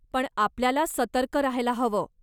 पण आपल्याला सतर्क राहायला हवं.